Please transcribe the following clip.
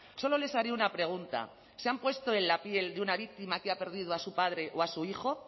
solo les haré una pregunta se han puesto en la piel de una víctima que ha perdido a su padre o a su hijo